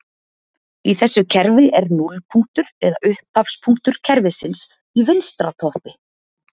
í þessu kerfi er núllpunktur eða upphafspunktur kerfisins í vinstra toppi